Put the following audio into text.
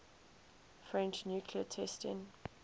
french nuclear testing